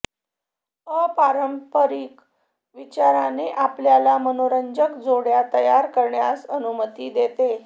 अपारंपरिक विचाराने आपल्याला मनोरंजक जोड्या तयार करण्यास अनुमती देते